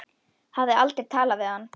Hafði aldrei talað við hann.